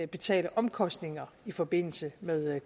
betale omkostninger i forbindelse med